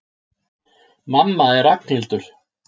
Mamma er Ragnhildur.